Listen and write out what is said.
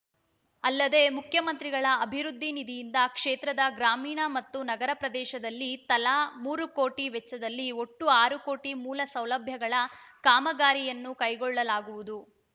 ಅಲ್ಲದೆ ಮುಖ್ಯಮಂತ್ರಿಗಳ ಅಭಿವೃದ್ಧಿ ನಿಧಿಯಿಂದ ಕ್ಷೇತ್ರದ ಗ್ರಾಮೀಣ ಮತ್ತು ನಗರ ಪ್ರದೇಶದಲ್ಲಿ ತಲಾ ಮೂರು ಕೋಟಿ ವೆಚ್ಚದಲ್ಲಿ ಒಟ್ಟು ಆರು ಕೋಟಿ ಮೂಲ ಸೌಲಭ್ಯಗಳ ಕಾಮಗಾರಿಗಳನ್ನು ಕೈಗೊಳ್ಳಲಾಗುವುದು